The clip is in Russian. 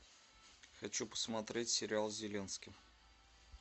хочу посмотреть сериал с зеленским